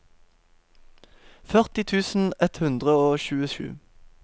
førti tusen ett hundre og tjuesju